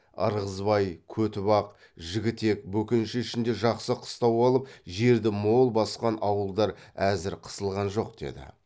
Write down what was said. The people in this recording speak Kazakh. ырғызбай көтібақ жігітек бөкенші ішінде жақсы қыстау алып жерді мол басқан ауылдар әзір қысылған жоқ деді